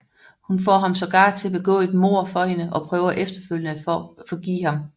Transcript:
Hun får ham sågar til at begå et mord for hende og prøver efterfølgende at forgive ham